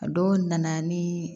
A dɔw nana ni